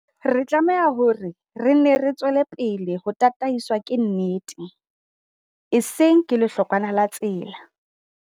Re tlameha hore re nne re tswele pele ho tataiswa ke nnete, e seng ke hlokwana la tsela.